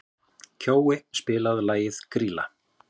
Kjói, spilaðu lagið „Grýla“.